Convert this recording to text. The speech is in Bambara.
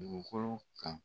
Dugukolo kan.